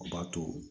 O b'a to